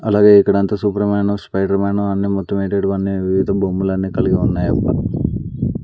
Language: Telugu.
అలాగే ఇక్కడ అంత శుభ్రమైన స్పైడర్ మాన్ అన్ని మొత్తం ఎంటెంటివో వివిధ బొమ్మలన్ని కలిగి ఉన్నాయి.